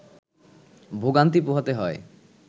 ভোগান্তি পোহাতে হয়